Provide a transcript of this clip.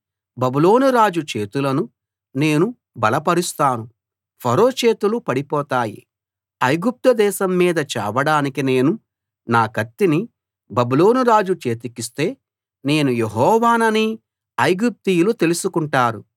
బబులోను రాజు చేతులను నేను బలపరుస్తాను ఫరో చేతులు పడిపోతాయి ఐగుప్తు దేశం మీద చాపడానికి నేను నా కత్తిని బబులోను రాజు చేతికిస్తే నేను యెహోవానని ఐగుప్తీయులు తెలుసుకుంటారు